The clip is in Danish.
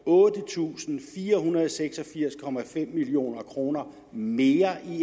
otte tusind fire hundrede og seks og firs 5 million kroner mere end de